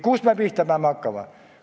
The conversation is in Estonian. Kust me peame pihta hakkama?